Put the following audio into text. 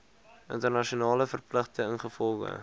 internasionale verpligtinge ingevolge